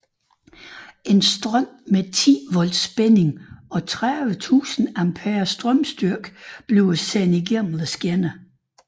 En strøm med 10 volts spænding og 30000 amperes strømstyrke sendes gennem skinnerne